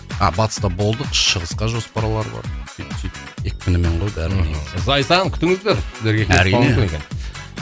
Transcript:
а батыста болдық шығысқа жоспарлар бар сөйтіп сөйтіп екпінімен ғой барлығы негізі зайсан күтіңіздер әрине